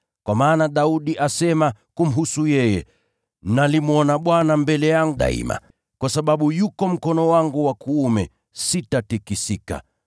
Kwa maana Daudi asema kumhusu yeye: “ ‘Nalimwona Bwana mbele yangu daima. Kwa sababu yuko mkono wangu wa kuume, sitatikisika.